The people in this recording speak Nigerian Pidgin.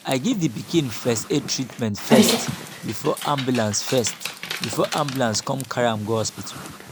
i give the pikin first aid treatment first before ambulance first before ambulance come carry am go hospital